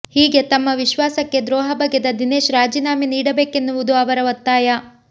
ಹೀಗೆ ತಮ್ಮ ವಿಶ್ವಾಸಕ್ಕೆ ದ್ರೋಹ ಬಗೆದ ದಿನೇಶ್ ರಾಜೀನಾಮೆ ನೀಡಬೇಕೆನ್ನುವುದು ಅವರ ಒತ್ತಾಯ